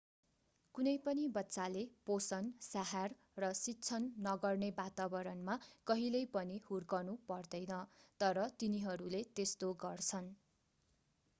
कुनै पनि बच्चाले पोषण स्याहार र शिक्षण नगर्ने वातावतणमा कहिल्यै पनि हुर्कनु पर्दैन तर तिनीहरूले त्यस्तो गर्छन्